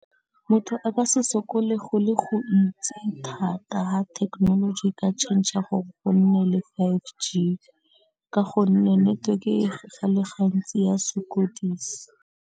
Motho a ka se sokole go le go ntsi thata ha thekenoloji e ka tšhentšha gore go nne le five G ka gonne network gantsi ya sokodisa.